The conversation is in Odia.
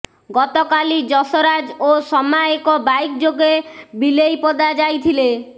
ଗତକାଲି ଯଶରାଜ ଓ ସମା ଏକ ବାଇକ୍ ଯୋଗେ ବିଲେଇପଦା ଯାଇଥିଲେ